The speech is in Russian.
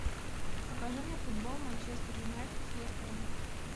покажи мне футбол манчестер юнайтед с лестером